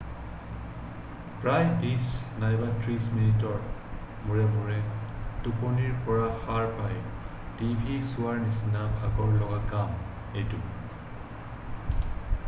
প্ৰায় বিশ নাইবা ত্ৰিশ মিনিটৰ মূৰে মূৰে টোপনিৰ পৰা সাৰ পাই টিভি চোৱাৰ নিচিনা ভাগৰ লগা কাম এইটো